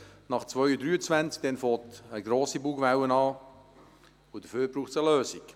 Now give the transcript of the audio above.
Zu diesem Zeitpunkt gibt es eine grosse Bugwelle, und dafür braucht es eine Lösung.